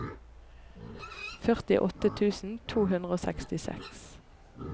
førtiåtte tusen to hundre og sekstiseks